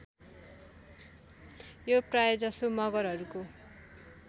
यो प्रायजसो मगरहरूको